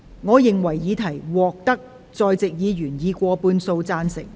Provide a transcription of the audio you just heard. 我認為議題獲得在席議員以過半數贊成。